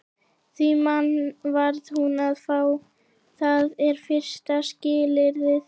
Því mann varð hún að fá, það er fyrsta skilyrðið.